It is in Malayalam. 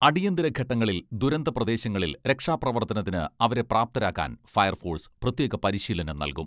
അടിയന്തരഘട്ടങ്ങളിൽ ദുരന്ത പ്രദേശങ്ങളിൽ രക്ഷാപ്രവർത്തനത്തിന് അവരെ പ്രാപ്തരാക്കാൻ ഫയർഫോഴ്സ് പ്രത്യേക പരിശീലനം നൽകും.